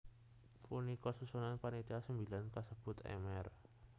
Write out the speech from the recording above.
Punika susunan panitia sembilan kasebut Mr